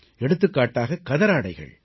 எடுத்துக்காட்டாக கதராடைகள்